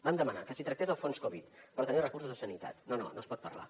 vam demanar que s’hi tractés el fons covid per tenir els recursos a sanitat no no no se’n pot parlar